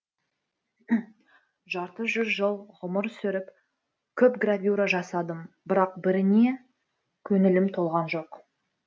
жарты жүз жыл ғұмыр сүріп көп гравюра жасадым бірақ біріне көңілім толған жоқ